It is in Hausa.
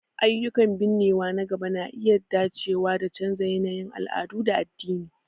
Ayyukan binnewa na gaba na iya dacewa da canza yanayin al'adu da addini..